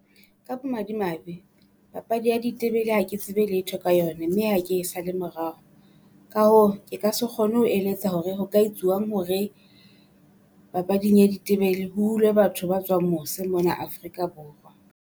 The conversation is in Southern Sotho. Ka bomadimabe papadi ya ditebele ha ke tsebe letho ka yone, mme ha ke e sa le morao. Ka hoo ke ka se kgone ho eletsa hore ho ka etsuwang hore papading ya ditebele ho hulwe batho ba tswang mose mona Afrika Borwa.